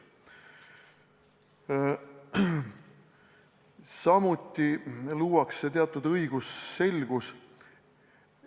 Samuti luuakse teatud õigusselgus.